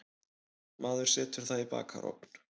Maður setur það í bakarofn.